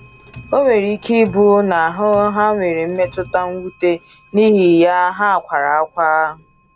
O nwere ike ị bụ na ha nwere mmetụta mwute, n’ihi ya ha kwara ákwá.